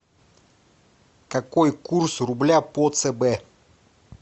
какой курс рубля по цб